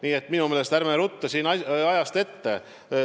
Nii et ärme ruttame ajast ette.